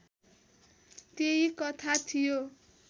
त्यही कथा थियो